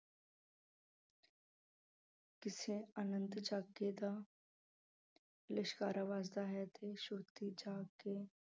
ਕਿਸੇ ਅਨੰਤ ਝਾਕੀ ਦਾ ਲਿਸ਼ਕਾਰਾ ਵੱਜਦਾ ਹੈ ਤੇ ਸੁਰਤੀ ਜਾਗ ਕੇ